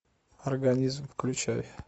организм включай